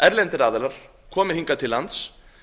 erlendir aðilar komið hingað til lands